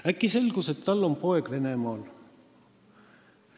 Äkki selgus ka see, et tal on poeg Venemaal.